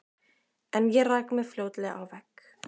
En ég rak mig fljótlega á vegg.